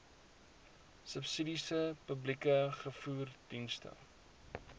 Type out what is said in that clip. subsidiesom publieke vervoerdienste